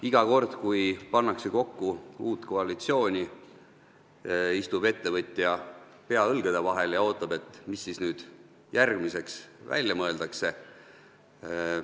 Iga kord, kui pannakse kokku uut koalitsiooni, istub ettevõtja, pea õlgade vahel, ja ootab, mis siis nüüd järgmiseks välja mõeldakse.